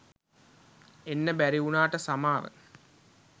එන්න බැරි වුණාට සමාව